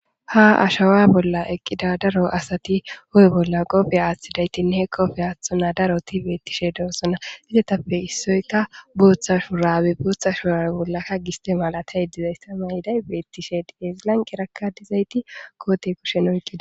Ha ashawa bolla eqqida daro asati hu'e bolla qoobe aathidaysatinne qoobe aathona daroti beetishe de'osona izetappe issoyka bootha shurrabe bootha shurrabe bollaka giste malatiyay dizayssa mayiday beetishe de'es lanqera dizaytika koote kushen oyida.